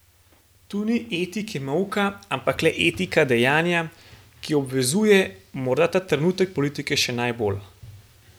Tu ni etike molka, ampak le etika dejanja, ki obvezuje, morda ta trenutek politike še najbolj.